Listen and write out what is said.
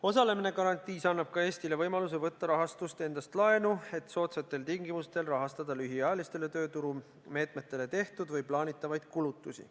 Osalemine garantiis annab ka Eestile võimaluse võtta rahastust endast laenu, et soodsatel tingimustel rahastada lühiajalistele tööturumeetmetele tehtud või plaanitavaid kulutusi.